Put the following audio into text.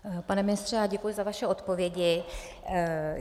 Pane ministře, děkuji za vaše odpovědi.